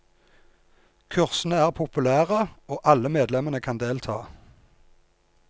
Kursene er populære, og alle medlemmene kan delta.